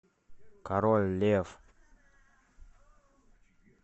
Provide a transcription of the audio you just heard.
король лев